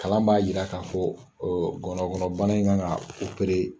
Kalan b'a yira k'a fɔ gɔnɔ kɔnɔ bana in kan ka